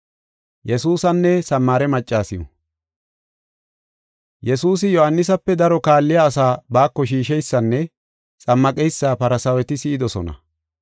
Yesuusi Yohaanisape daro kaalliya asaa baako shiisheysanne xammaqeysa Farsaaweti si7idosona.